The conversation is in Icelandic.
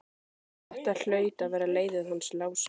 Þetta hlaut að vera leiðið hans Lása.